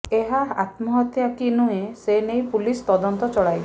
ଏହା ଆତ୍ମହତ୍ୟା କି ନୁହେଁ ସେନେଇ ପୁଲିସ ତଦନ୍ତ ଚଳାଇଛି